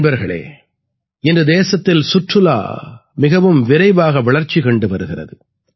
நண்பர்களே இன்று தேசத்தில் சுற்றுலா மிகவும் விரைவாக வளர்ச்சி கண்டு வருகிறது